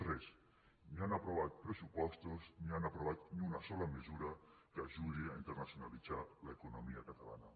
res ni han aprovat pressupostos ni han aprovat ni una sola mesura que ajudi a internacionalitzar l’economia catalana